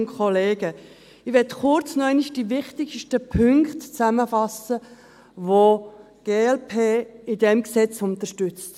Ich möchte kurz noch einmal die wichtigsten Punkte zusammenfassen, welche die glp in diesem Gesetz unterstützt.